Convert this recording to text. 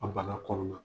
A bana kɔnɔna